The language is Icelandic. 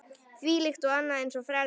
Þvílíkt og annað eins frelsi!